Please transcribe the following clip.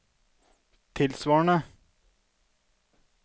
tilsvarende